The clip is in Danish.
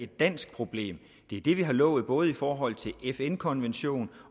dansk problem det er det vi har lovet både i forhold til fn konventionen